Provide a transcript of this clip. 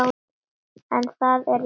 En það er rétt.